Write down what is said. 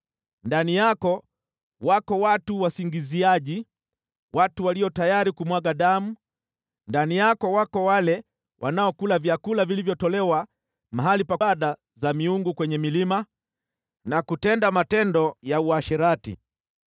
Ndani yako wako watu wasingiziaji, watu walio tayari kumwaga damu, ndani yako wako wale wanaokula vyakula vilivyotolewa mahali pa ibada za miungu kwenye milima, na kutenda matendo ya uasherati.